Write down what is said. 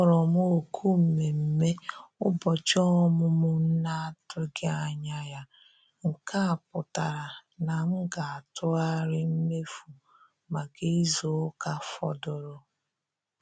A kpọrọ m òkù mmemme ụbọchị ọmụmụ m na-atụghị anya ya, nke a pụtara na m ga-atụgharị mmefu maka izu ụka fọdụrụ